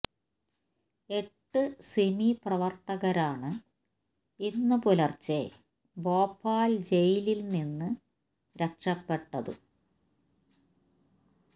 എട്ട് സിമി പ്രവർത്തകരാണ് ഇന്ന് പുലർച്ചെ ഭോപ്പാൽ ജയിലിൽ നിന്ന് രക്ഷപ്പെട്ടത്